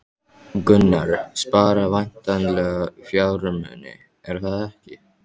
Gunnar: Spara væntanlega fjármuni, er það ekki?